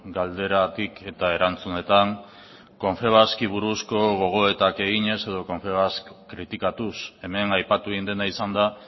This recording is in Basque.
galderatik eta erantzunetan confebaski buruzko gogoetak eginez edo confebask kritikatuz hemen aipatu egin dena izan da